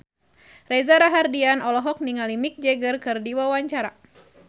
Reza Rahardian olohok ningali Mick Jagger keur diwawancara